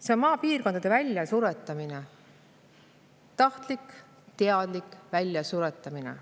See on maapiirkondade väljasuretamine – tahtlik, teadlik väljasuretamine.